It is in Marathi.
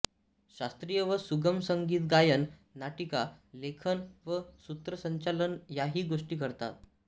शास्त्रीय व सुगम संगीत गायन नाटिका लेखन व सूत्रसंचालन याही गोष्टी करतात